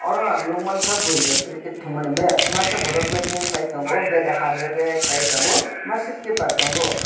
oro ang nogoimangkha boroi rok cricket tongmani match masa borok bating kelai tongo bat har rerek kelaitongo masa keepar tongo.